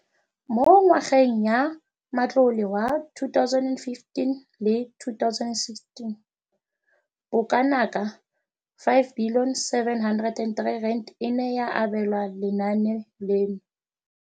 Mo ngwageng ya matlole wa 2015 le 2016, bokanaka R5 703 bilione e ne ya abelwa lenaane leno.